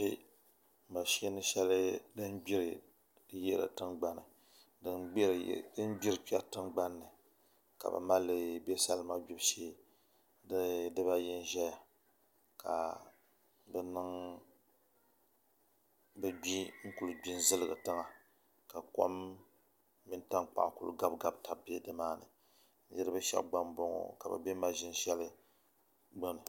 Mashin shɛli din gbiri kpɛri tingbanni ka bi malli bɛ salima gbibu shee di dibayi n ʒɛya ka bi gbi n kuli gbi n ziligi tiŋa ka kom mini tankpaɣu ku gabigabi tabi bɛ nimaani niraba shab gba n boŋo ka bi bɛ mashin shɛli gbuni